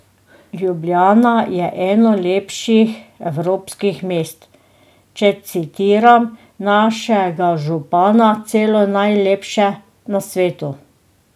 Ljubljana je eno lepših evropskih mest, če citiram našega župana, celo najlepše na svetu.